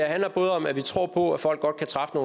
handler både om at vi tror på at folk godt kan træffe